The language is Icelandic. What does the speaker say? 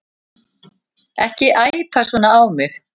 Ekki æpa svona á mig.